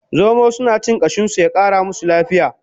Zomo suna cin kashin su ya Kara musu lafiya